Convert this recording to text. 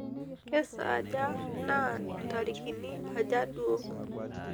kesaaja naa intarikini aja duo